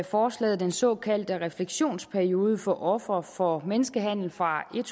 forslaget den såkaldte refleksionsperiode for ofre for menneskehandel fra